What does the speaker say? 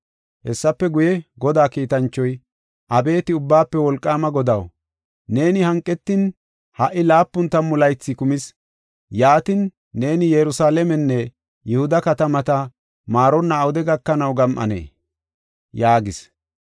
Hessafe guye, Godaa kiitanchoy, “Abeeti Ubbaafe Wolqaama Godaw, neeni hanqetin ha77i laapun tammu laythi kumis; yaatin, neeni Yerusalaamenne Yihuda katamata maaronna awude gakanaw gam7anee?” yaagis.